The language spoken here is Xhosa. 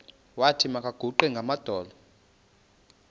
wathi makaguqe ngamadolo